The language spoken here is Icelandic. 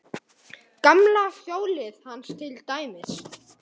Gamla hjólið hans til dæmis.